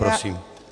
Prosím.